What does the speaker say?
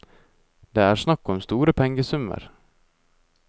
Det er snakk om store pengesummer.